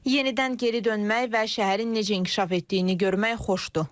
Yenidən geri dönmək və şəhərin necə inkişaf etdiyini görmək xoşdur.